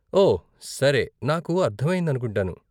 ఓ, సరే, నాకు అర్ధమయ్యింది అనుకుంటాను.